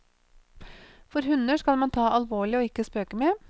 For hunder skal man ta alvorlig og ikke spøke med.